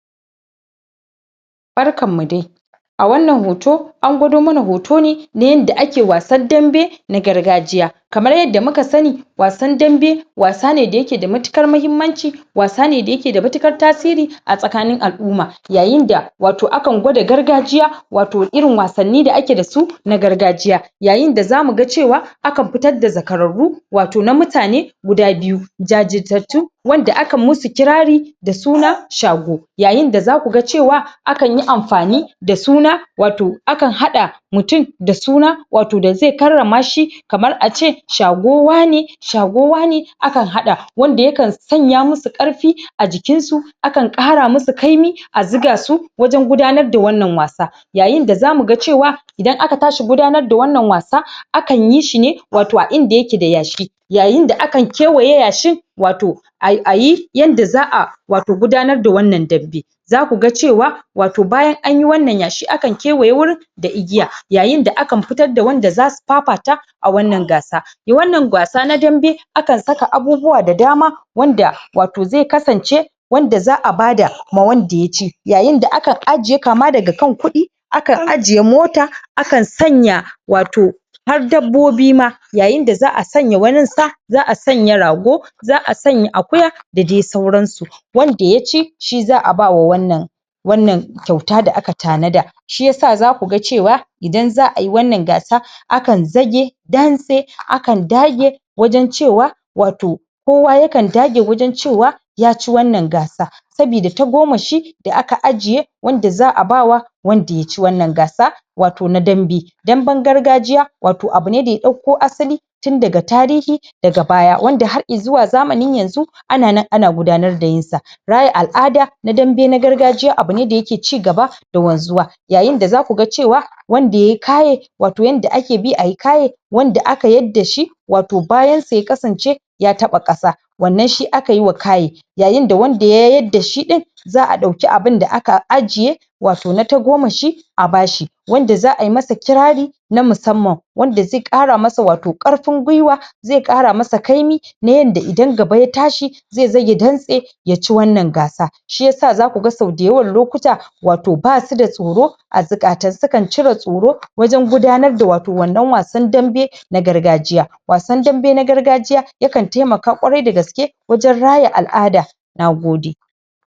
Barkan mu dai! A wannan hoto, an gwado mana hoto ne na yanda ake wasar dambe na gargajiya. Kamar yadda muka sani, wasar dambe, wasa ne da ya ke da matuƙar mahimmanci, wasa ne da ya ke da matuƙar tasiri a tsakanin al'umma. Yayin da wato akan gwada gargajiya, wato irin wasanni da ake da su na gargajiya. Yayin da za mu ga cewa akan fitar da zakararru wato na mutane guda biyu. Jajirtattu wanda akan musu kirari da suna shago. Yayin da za ku ga cewa akan yi amfani da suna wato akan haɗa mutum da suna wato da zai karrama shi. Kamar ace shago wane. Shago wane akan haɗa, wanda yakan sanya musu ƙarfi a jikin su. Akan ƙara musu ƙaimi, a zuga su wajen gudanar da wannan wasa. Yayin da za mu gacewa idan aka tashi gudanar da wannan wasa akan yi shi ne wato a inda ya ke da yashi. Yayin da akan kewaye ya shin wato ai ayi yanda za'a wato gudanar da wannan dambe. Za ku ga cewa wato bayan anyi wannan yashi akan kewaye wurin da igiya. Yayin da akan fitar da wanda za su fafata a wannan gasa. Yo wannan gasa na dambe akan saka abubuwa da dama wanda wato zai kasance wanda za'a bada ma wanda ya ci. Yayin da akan ajiye kama da kan kuɗi, akan ajiye mota akan sanya wato har dabbobi ma. Yayin da za'a sanya wani sa, za'a sanya rago za'a sanya akuya da dai sauransu. Wanda ya ci shi za'a ba wa wannan, wannan kyauta da aka ta na da. Shi yasa za ku ga cewa idan za'a yi wannan wasa akan zage dantse, akan dage wajen cewa wato kowa yakan dage wajen cewa yace wannan gasa, sabida tagomashi da aka aje wanda za'a bawa wanda yaci wannan gasa wato na dambe. Damben gargajiya wato abu ne da ya ɗauko asali tun daga tarihi daga baya, wanda har izuwa zamanin yanzu ana nan ana gudanar da irinsa. Za'a yi al'ada na dambe na gargajiya abu ne da ya ke cigaba da wanzuwa. Yayin da za ku ga cewa wanda yayi kaye wato yanda ake bi ayi kaye, wanda aka yadda shi wato bayan sa ya kasance ya taɓa ƙasa. Wannan shi aka yiwa kaye, yayin da wanda ya yadda shi ɗin za'a ɗauki abun da aka ajiye, wato na tagomashi a ba shi, wanda za'a masa kirari na musamman. Wanda zai ƙara masa wato ƙarfin gwiwa, zai ƙara masa ƙaimi na yanda idan gaba ya tashi, zai zage dantse yaci wannan gasa. Shi yasa za ku ga sau da yawan lokuta wato ba suda tsoro a zukata. sukan cire tsoro wajen gudanar wato wannan wasan dambe na gargajiya wasan dambe na gargajiya yakan taimaka ƙwarai da gaske wajen raya al'ada. Nagode!